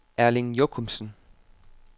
Erling Jochumsen